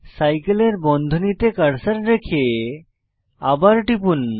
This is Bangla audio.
সাইকেলের বন্ধনীতে কার্সার রেখে আবার টিপুন